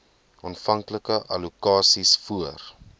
aanvanklike allokasies voor